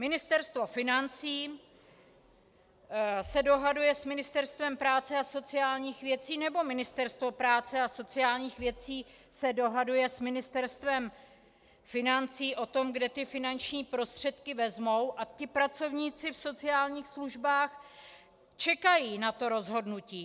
Ministerstvo financí se dohaduje s Ministerstvem práce a sociálních věcí, nebo Ministerstvo práce a sociálních věcí se dohaduje s Ministerstvem financí o tom, kde ty finanční prostředky vezmou, a ti pracovníci v sociálních službách čekají na to rozhodnutí.